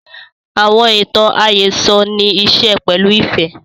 Àwọn ìtàn àhésọ nì ìṣe pẹ̀lu ifẹ